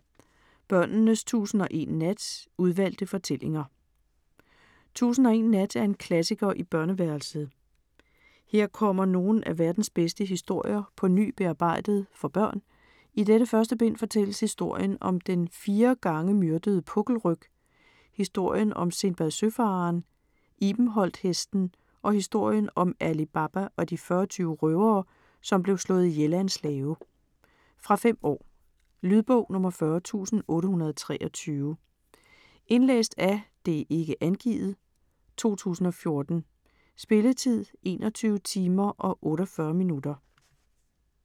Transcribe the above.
Børnenes tusind og én nat: udvalgte fortællinger Tusind og én nat er en klassiker i børneværelset. Her kommer nogle af verdens bedste historier på ny bearbejdet for børn. I dette første bind fortælles historien om den fire gange myrdede pukkelryg, historien om Sindbad Søfareren, ibenholthesten og historien om Ali Baba og de fyrretyve røvere, som blev slået ihjel af en slave. Fra 5 år. Lydbog 40823 Indlæst af ikke angivet, 2014. Spilletid: 21 timer, 48 minutter.